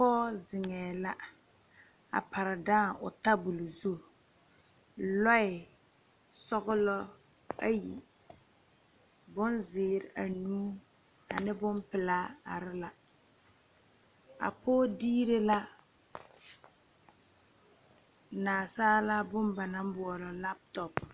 Poɔ zengɛɛ la a pare daãng ɔ tabuli zu lɔɛ sɔglo ayi , bonziire anuu ani bonpelaa are la a poɔ diire la naasaalaa bon ba nang boɔlo laptɔp.